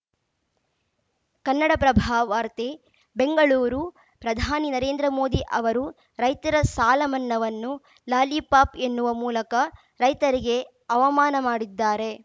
ಕನ್ನಡಪ್ರಭ ವಾರ್ತೆ ಬೆಂಗಳೂರು ಪ್ರಧಾನಿ ನರೇಂದ್ರ ಮೋದಿ ಅವರು ರೈತರ ಸಾಲ ಮನ್ನಾವನ್ನು ಲಾಲಿಪಾಪ್‌ ಎನ್ನುವ ಮೂಲಕ ರೈತರಿಗೆ ಅವಮಾನ ಮಾಡಿದ್ದಾರೆ